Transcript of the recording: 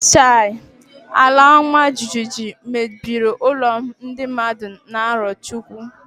Chai! Alaọmajijiji mebiri ụlọ ndị mmadụ na Arọchukwu.